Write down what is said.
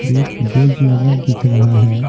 एक बेड लगा दिख रहा है।